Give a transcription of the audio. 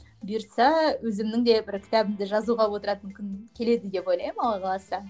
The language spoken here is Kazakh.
бұйыртса өзімнің де бір кітабымды жазуға отыратын күн келеді деп ойлаймын алла қаласа